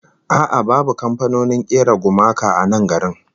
A'a babu kamfanonin kera gumaka a nan garin